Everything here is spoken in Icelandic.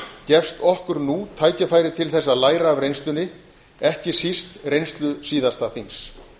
gefst okkur nú tækifæri til að læra af reynslunni ekki síst reynslu síðasta þings